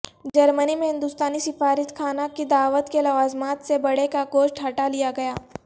جرمنی میں ہندوستانی سفارت خانہ کی دعوت کے لوازمات سے بڑے کا گوشت ہٹالیا گیا